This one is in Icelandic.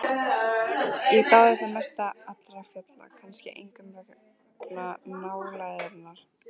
Ég dáði það mest allra fjalla, kannski einkum vegna nálægðarinnar.